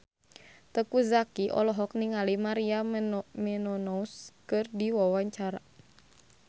Teuku Zacky olohok ningali Maria Menounos keur diwawancara